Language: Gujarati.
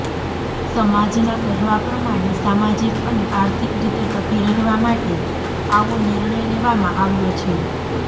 સમાજના કહેવા પ્રમાણે સામાજિક અને આર્થિક રીતે ટકી રહેવા માટે આવો નિર્ણય લેવામાં આવ્યો છે